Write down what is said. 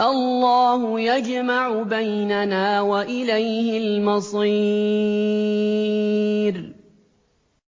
اللَّهُ يَجْمَعُ بَيْنَنَا ۖ وَإِلَيْهِ الْمَصِيرُ